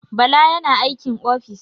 Bala yana aikin ofis.